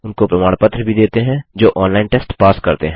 उनको प्रमाण पत्र भी देते हैं जो ऑनलाइन टेस्ट पास करते हैं